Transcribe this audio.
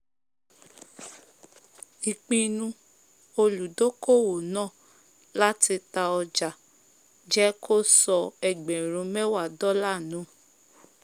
ìpinu olùdókòwò náà láti ta ọjà jẹ́ kó sọ ẹgbẹ̀rún mẹ́wà dọ́là nù